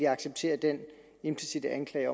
acceptere den implicitte anklage